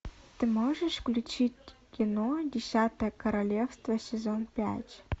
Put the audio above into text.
ты можешь включить кино десятое королевство сезон пять